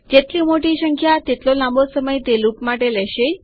જેટલી મોટી સંખ્યા તેટલો લાંબો સમય તે લુપ માટે લેશે